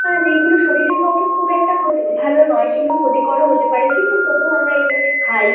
আ যেগুলো শরীরের পক্ষে খুব একটা ক্ষতি ভালো নয় সেগুলো ক্ষতিকরও হতে পারে কিন্তু তবুও আমরা এগুলোকে খাই।